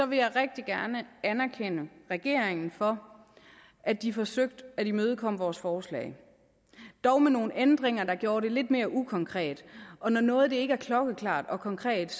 vil jeg rigtig gerne anerkende regeringen for at de forsøgte at imødekomme vores forslag dog med nogle ændringer der gjorde det lidt mere ukonkret og når noget ikke er klokkeklart og konkret